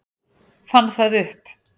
Fann það upp.